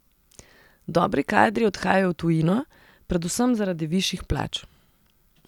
Dobri kadri odhajajo v tujino, predvsem zaradi višjih plač.